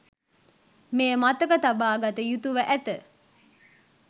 මෙය මතක තබා ගත යුතුව ඇත.